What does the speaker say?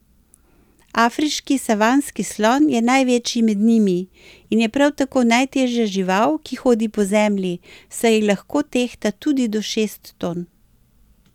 Afriški savanski slon je največji med njimi in je prav tako najtežja žival, ki hodi po zemlji, saj lahko tehta tudi do šest ton.